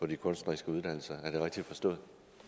de kunstneriske uddannelser er det rigtigt forstået